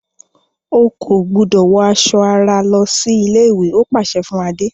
O kò gbúdọ̀ wọ aṣọ ara lọsí ilé-ìwé! ó pàsẹ fún Adé.